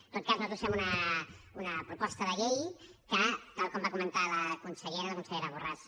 en tot cas nosaltres fem una proposta de llei que tal com va comentar la consellera borràs